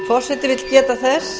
forseti vill geta þess